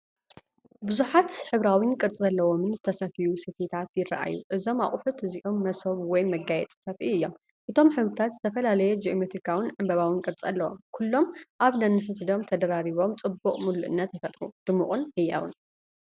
ብዙሓት ሕብራዊን ቅርጺ ዘለዎምን ዝተሰፍዩ ሰፍኢታት ይረኣዩ። እዞም ኣቑሑት እዚኦም መሶብ ወይ መጋየጺ ሰፍኢ እዮም። እቶም ሕብርታት ዝተፈላለየ ጂኦሜትሪካውን ዕምባባውን ቅርጺ ኣለዎም። ኩሎም ኣብ ነንሕድሕዶም ተደራሪቦም ጽቡቕ ምሉእነት ይፈጥሩ። ድሙቕን ህያውን።